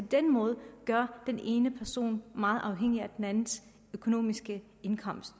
den måde gør den ene person meget afhængig af den andens indkomst